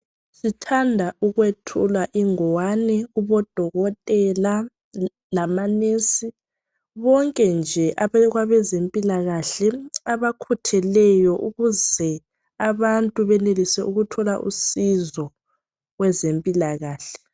Sithanda ukwethula ingwane kubodokotela labomongikazi bonke nje abezempilakahle abakhutheleyo ukuze abantu benelise ukuthola usizo kwezempilakahle.